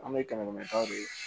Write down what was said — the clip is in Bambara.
An bɛ kɛmɛ kɛmɛ taw de